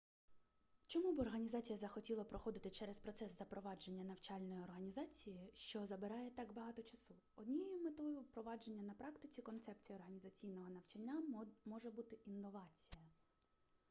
чому б організація захотіла проходити через процес запровадження навчальної організації що забирає так багато часу однією метою впровадження на практиці концепцій організаційного навчання може бути інновація